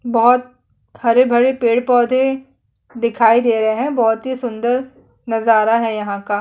बहुत हरे - भरे पेड़ - पौधे दिखाई दे रहै है बहुत ही सुंदर नज़ारा है यहाँ का --